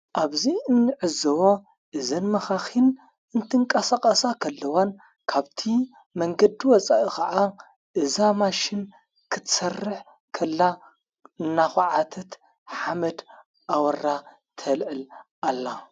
ኣብዙይ እንሕዝዎ እዘን መኻኺን እንትንቃሳቐሳ ኸለዋን ካብቲ መንገዲ ወፃኢ ኸዓ እዛማሽን ኽትሠርሕ ከላ እናዀዓተት ሓመድ ኣወራ ተልዕል ኣላ::